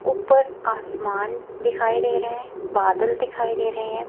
ऊपर आसमान दिखाई दे रहा है बादल दिखाई दे रहे हैं।